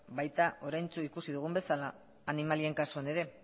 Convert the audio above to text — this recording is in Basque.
bai oraintsu ikusi dugun bezala animalien kasuan ere